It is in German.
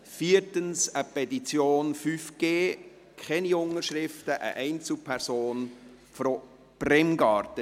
viertens eine Petition «5G», keine Unterschriften, einer Einzelperson aus Bremgarten.